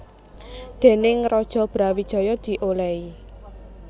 Déning Raja Brawijaya diolehi